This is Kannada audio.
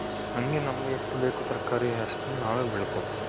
ಹಂಗೆ ನಮಗೆ ಎಷ್ಟು ಬೇಕೋ ತರಕಾರಿ ಅಷ್ಟನ್ ನಾವೇ ಬೆಳ್ಕೊಂತೀವಿ.